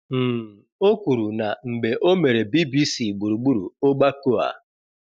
um o kwuru na mgbe o mere BBC gburugburu ogbako a.